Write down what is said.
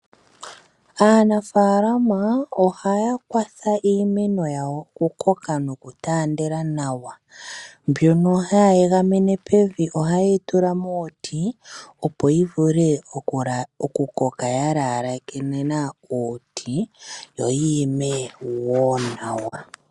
Aanafaalama ohaya kwatha iimeno yawo oku koka noku taandela nawa, mbyono hayi egamene pevi, ohaye yi tula muuti opo yi vulu oku koka ya laalekena uuti, yo yiimeno woo nawa.